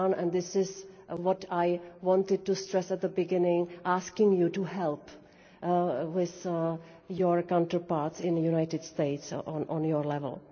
This is what I wanted to stress at the beginning, asking you to help with your counterparts in the United States at your level.